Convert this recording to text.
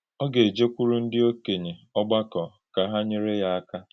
Ọ gà-ejékwùrù ndí òkènye ògbàkò kà hà nyèrè yá àkà.